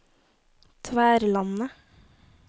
Tverlandet